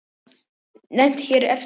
Nefnd hér eftir: Stríð.